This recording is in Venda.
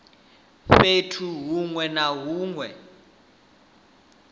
fhethu hunwe na hunwe hune